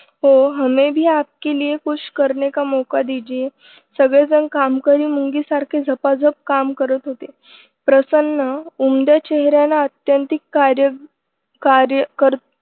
हो हमे भी आपके लिये कुछ करणे का मौका दिजिये सगळेजण कामकरी मुंगीसारखे झपाझप काम करत होते. प्रसन्न ऊमऱ्या चेहऱ्याला आत्यंतिक कार्य कार्य कर्ते